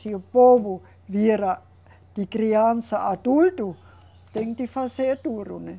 Se o povo vira de criança a adulto, tem que fazer duro, né?